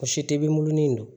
O si tɛ bunin don